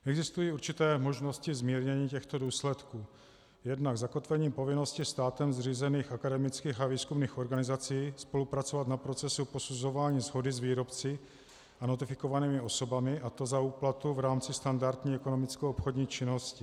Existují určité možnosti zmírnění těchto důsledků: Jednak zakotvením povinnosti státem zřízených akademických a výzkumných organizací spolupracovat na procesu posuzování shody s výrobci a notifikovanými osobami, a to za úplatu v rámci standardní ekonomicko-obchodní činnosti.